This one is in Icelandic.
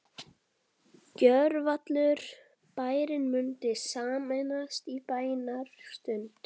Gjörvallur bærinn mundi sameinast í bænastund.